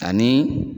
Ani